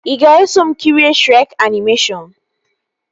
Ị ga-eso m kirie Shrek animeshọnu?